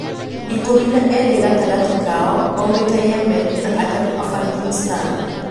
Ikumi na eri gatagati kao maumite Yemen na atatu Afghanistan